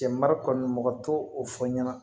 Cɛ mara kɔni mɔgɔ t'o fɔ ɲɛna